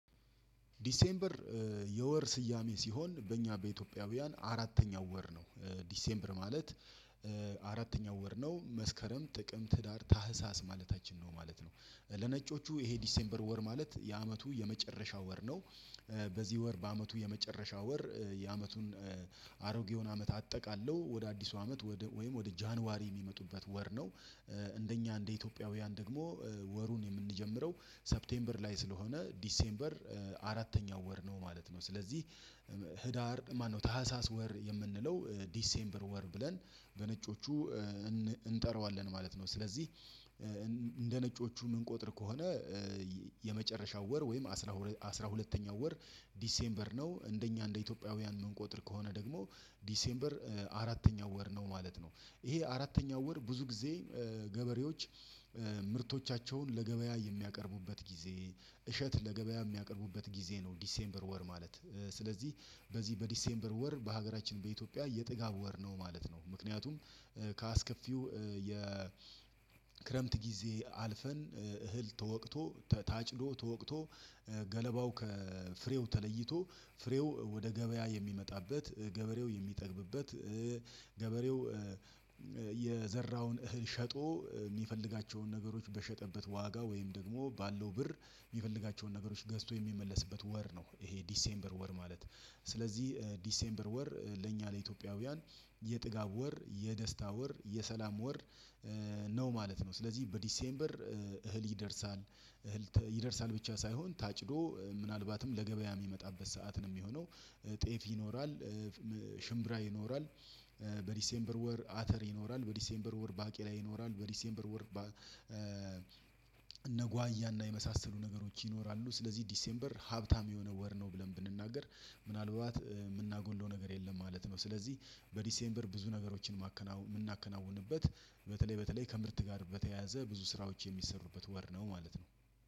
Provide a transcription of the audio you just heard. ዲሴምበር የወር ስያሜ ሲሆን በእኛ በኢትዮጵያውያን አራተኛው ወር ነው። ዲሴምበር ማለት አራተኛው ወር ነው መስከረም ጥቅምት ህዳር ታህሳስ ማለታችን ነው ማለት ነው። ለነጮቹ ይሄ ዲሴምበር ወር ማለት የዐመቱ የመጨረሻ ወር ነው። በዚህ ወር በዐመቱ የመጨረሻ ወር የዐመቱን አሮጌውን ዐመት አጠቃለሁ ወደ አዲሱ ዐመት ወደ ወይም ወደ ጃንዋሪ የሚመጡበት ወር ነው። እንደኛ እንደ ኢትዮጵያውያን ደግሞ ወሩን የምንጀምረው ሰፕቴምበር ላይ ስለሆነ ዲሴምበር አራተኛው ወር ነው ማለት ነው። ስለዚህ ህዳር ማነው ታህሳስ ወር የምንለው ዲሴምበር ወር ብለን በነጮቹ እንጠራዋለን ማለት ነው። ስለዚህ እንደ ነጮቹ የምንቆጥር ከሆነ የመጨረሻው ወር ወይም አስራ ሁለተኛው ወር ዲሴምበር ነው። እንደኛ እንደ ኢትዮጵያውያን እምንቆጠር ከሆነ ደግሞ ዲሴምበር አራተኛው ወር ነው ማለት ነው። ይሄ አራተኛው ወር ብዙ ጊዜ ገበሬዎች ምርቶቻቸውን ለገበያ የሚያቀርቡበት ጊዜ እሸት ለገበያ የሚያቀርቡበት ጊዜ ነው። ዲሴምበር ወር ማለት ስለዚህ በዚህ በዲሴምበር ወር በሀገራችን በኢትዮጵያ የጥጋብ ወር ነው ማለት ነው። ምክንያቱም ከአስከፊው የክረምት ጊዜ አልፈን እህል ተወቅቶ ታጭዶ ተወቅቶ ገለባው ከፍሬው ተለይቶ ፍሬው ወደ ገበያ የሚመጣበት ገበሬው የሚጠግብበት ገበሬው የዘራውን እህል ሸጦ የሚፈልጋቸውን ነገሮች በሸጠበት ዋጋ ወይም ደግሞ ባለው ብር የሚፈልጋቸውን ነገሮች ገዝቶ የሚመለስበት ወር ነው። ይሄ ዲሴምበር ወር ማለት ስለዚህ ዲሴምበር ወር ለእኛ ለኢትዮጵያውያን የጥጋብ ወር የደስታ ወር የሰላም ወር ነው ማለት ነው። ስለዚህ በዲሴምበር እህል ይደርሳል እህል ብቻ ሳይሆን ታጭዶ ምናልባትም ለገበያ የሚመጣበት ሰዓት ነው የሚሆነው ጤፍ ይኖራል። ሽምብራ ይኖራል። በዲሴምበር ወር አተር ይኖራል በዲሴምበር ወር ባቄላ ይኖራል። በዲሴምበር ወር እነጓያና የመሳሰሉ ነገሮች ይኖራሉ። ስለዚህ ዲሴምበር ሀብታም የሆነ ወር ነው ብለን ብንናገር ምናልባት የምናጎለው ነገር የለም ማለት ነው። ስለዚህ በዲሴምበር ብዙ ነገሮችን ማከና የምናከናውንበት በተለይ በተለይ ከምርት ጋር በተያያዘ ብዙ ስራዎች የሚሰሩበት ወር ነው ማለት ነው።